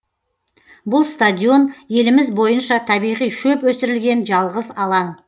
бұл стадион еліміз бойынша табиғи шөп өсірілген жалғыз алаң